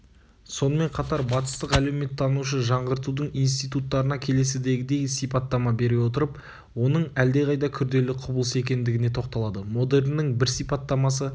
сонымен қатар батыстық әлеуметтанушы жаңғыртудың институттарына келесідегідей сипаттама бере отырып оның әлде қайда күрделі құбылыс екендігіне тоқталады модерннің бір сипаттамасы